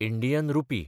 Indian rupee